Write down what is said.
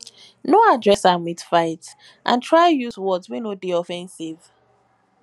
no address am with fight and try use words wey no de offensive